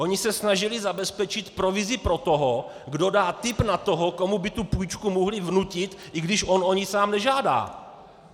Oni se snažili zabezpečit provizi pro toho, kdo dá tip na toho, komu by tu půjčku mohli vnutit, i když on o ni sám nežádá.